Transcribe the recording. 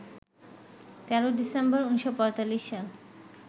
১৩ December ১৯৪৫ সাল